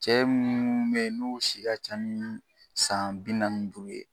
Cɛ munnu be yen, n'ou si ka ca ni san bi naani ni duuru ye